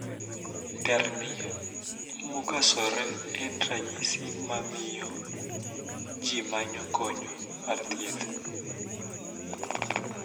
Terni mokasore en ranyisi mamiyo jii manyo kony mar thieth.